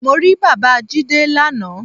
Mo rí bàbáa Jídé lana